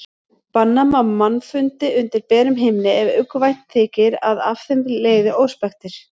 Banna má mannfundi undir berum himni ef uggvænt þykir að af þeim leiði óspektir.